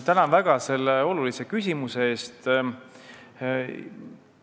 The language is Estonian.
Tänan väga selle olulise küsimuse eest!